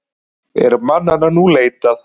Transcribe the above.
Er mannanna nú leitað.